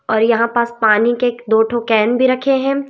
और यहां पास पानी के दो ठो कैन भी रखे हैं।